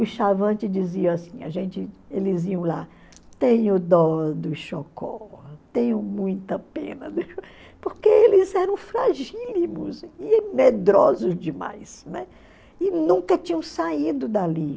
O Chavante dizia assim, a gente eles iam lá, tenho dó do tenho muita pena do porque eles eram fragílimos e medrosos demais, né, e nunca tinham saído dali.